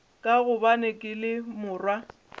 ka gobane ke le morwa